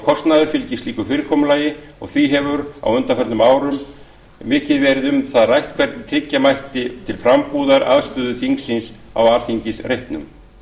kostnaður fylgir slíku fyrirkomulagi og því hefur á undanförnum árum mikið verið um það rætt hvernig tryggja mætti til frambúðar aðstöðu þingsins á alþingisreitnum